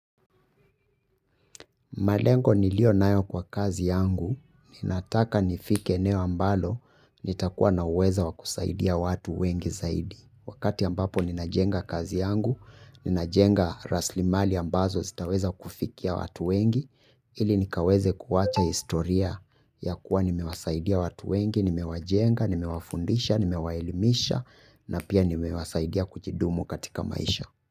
Malengo nilio nayo kwa kazi yangu, ninataka nifike eneo ambalo, nitakuwa naweza wakusaidia watu wengi zaidi. Wakati ambapo ninajenga kazi yangu, ninajenga raslimali ambazo zitaweza kufikia watu wengi, ili nikaweze kuwacha historia ya kuwa nimewasaidia watu wengi, nimewajenga, nimewafundisha, nimewaelimisha, na pia nimewasaidia kuchidumu katika maisha.